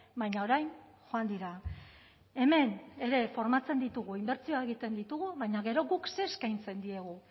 baina orain joan dira hemen ere formatzen ditugu inbertsioak egiten ditugu baina gero guk zer eskaintzen diegu